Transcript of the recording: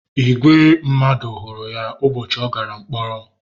Ìgwè mmadụ hụrụ ya ụbọchị ọ gàrà mkpọrọ